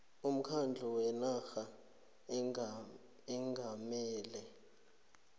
umkhandlu wenarha ongamele